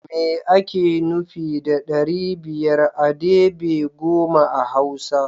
Me ake nufi da ɗari biyar a debe goma a hausa?